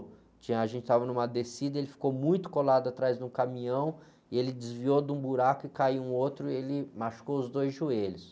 Que a gente estava numa descida, ele ficou muito colado atrás de um caminhão, ele desviou de um buraco e caiu em outro, ele machucou os dois joelhos.